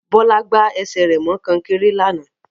Bọ́lá gbá ẹsẹ̀ rẹ̀ mọ kọ́nkéré lánàá